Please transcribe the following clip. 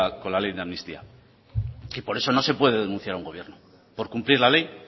con la ley de amnistía y por eso no se puede denunciar a un gobierno por cumplir la ley